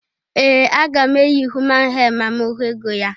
Ee! Aga m eyi human hee ma m hụ ego ya.